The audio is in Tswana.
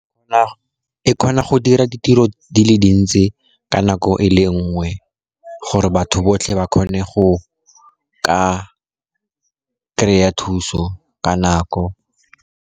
E kgona go dira ditiro di le dintsi ka nako e le nngwe gore batho botlhe ba kgone go ka kry-a thuso ka nako.